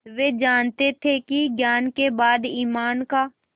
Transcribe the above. वे जानते थे कि ज्ञान के बाद ईमान का